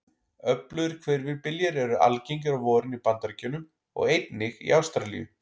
Öflugir hvirfilbyljir eru algengir á vorin í Bandaríkjunum og einnig í Ástralíu.